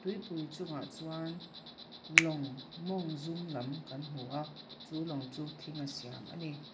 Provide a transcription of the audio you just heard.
tuipui chungah chuan lawng mawng zum lam kan hmu a chu lawng chu chu lawng chu thinga siam a ni.